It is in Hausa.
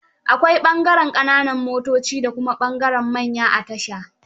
Akwai ɓangaren ƙananan motoci da kuma ɓangaren manya a tasha.